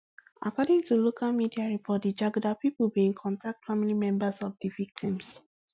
according to local media report di jaguda pipo bin contact family members of di victims